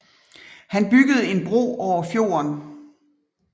Han byggede en bro over fjorden